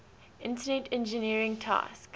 internet engineering task